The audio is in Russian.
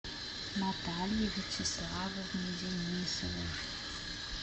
наталье вячеславовне денисовой